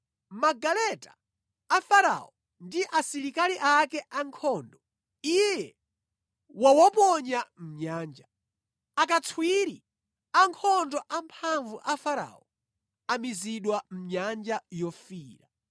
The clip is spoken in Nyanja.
Magaleta a Farao ndi asilikali ake ankhondo Iye wawaponya mʼnyanja. Akatswiri ankhondo amphamvu a Farao amizidwa mʼNyanja Yofiira.